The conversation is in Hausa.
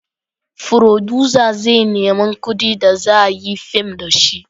Furodusa zai nemi kudin da za a yi fim da shi